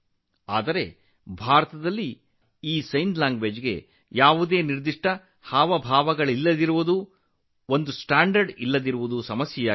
ಆದರೆ ಭಾರತದಲ್ಲಿ ಹಲವು ವರ್ಷಗಳಿಂದ ಒಂದು ದೊಡ್ಡ ಸಮಸ್ಯೆಯೆಂದರೆ ಯಾವುದೇ ಸ್ಪಷ್ಟ ಸನ್ನೆಗಳಿಲ್ಲ ಸಂಜ್ಞೆ ಭಾಷೆಗೆ ಯಾವುದೇ ಮಾನದಂಡಗಳಿಲ್ಲ